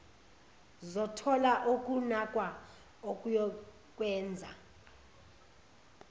zothola ukunakwa okuyokwenza